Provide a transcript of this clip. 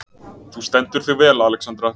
Þú stendur þig vel, Alexandra!